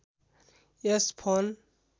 यस phone